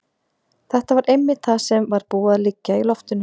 Þetta var einmitt það sem var búið að liggja í loftinu.